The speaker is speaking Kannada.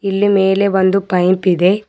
ಇಲ್ಲಿ ಮೇಲೆ ಒಂದು ಪೈಪ್ ಇದೆ.